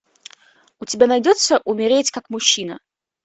у тебя найдется умереть как мужчина